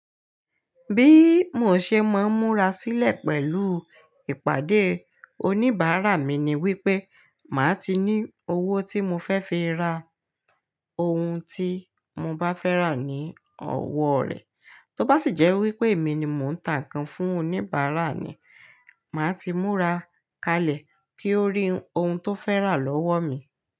Bí mo ṣe máa múra sílẹ̀ pẹ̀lú ìpàdé oníbàárà mi ni wípé màá ti ní owó tí mo fẹ́ fi ra ohun tí mo bá fẹ́ rà ní ọwọ́ rẹ̀. Tó bá sì jẹ́ wípé èmi ni mò ń tà ńkan fún oníbàárà ni, màá ti múra kalẹ̀ kí ó rí ohun tó fẹ́ rà lọ́wọ́ mi.